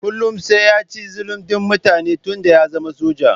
Kullum sai ya ci zalun din mutane tun da ya zama soja.